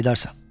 Qayıdacaqsan.